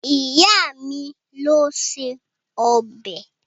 Ìyá mi ló se ọbẹ̀.